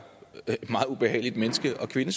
et meget ubehageligt menneskesyn